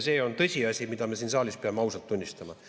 See on tõsiasi, mida me siin saalis peame ausalt tunnistama.